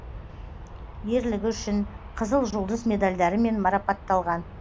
ерлігі үшін қызыл жұлдыз медалдарымен марпатталған